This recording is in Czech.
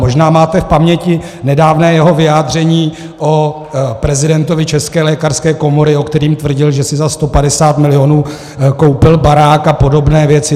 Možná máte v paměti nedávné jeho vyjádření o prezidentovi České lékařské komory, o kterém tvrdil, že si za 150 milionů koupil barák, a podobné věci.